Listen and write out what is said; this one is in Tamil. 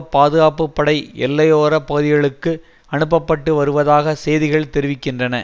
பாதுகாப்பு படை எல்லையோர பகுதிகளுக்கு அனுப்ப பட்டு வருவதாக செய்திகள் தெரிவிக்கின்றன